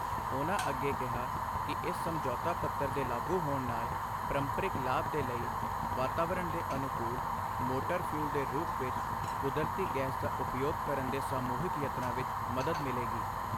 ਉਨ੍ਹਾ ਅੱਗੇ ਕਿਹਾ ਕਿ ਇਸ ਸਮਝੌਤਾ ਪੱਤਰ ਦੇ ਲਾਗੂ ਹੋਣ ਨਾਲ ਪ੍ਰੰਪਰਿਕ ਲਾਭ ਦੇ ਲਈ ਵਾਤਾਵਰਣ ਦੇ ਅਨੁਕੂਲ਼ ਮੋਟਰ ਫਿਊਲ ਦੇ ਰੂਪ ਵਿੱਚ ਕੁਦਰਤੀ ਗੈਸ ਦਾ ਉਪਯੋਗ ਕਰਨ ਦੇ ਸਮੂਹਿਕ ਯਤਨਾਂ ਵਿੱਚ ਮਦਦ ਮਿਲੇਗੀ।